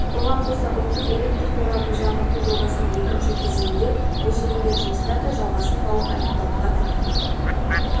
оған қоса ұлттық электр торабын жаңғырту жобасының екінші кезеңінде межеленген жұмыстар да жалғасын тауып аяқталуға таяған